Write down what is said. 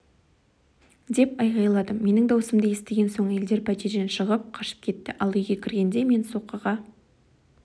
деп айғайладым менің даусымды естіген соң әйелдер пәтерден шығып қашып кетті ал үйге кіргенде мен соққыға